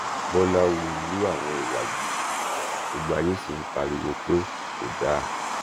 bọlá hu irú àwọn ìwà yìí gbogbo ayé sì ń pariwo pé kò dáa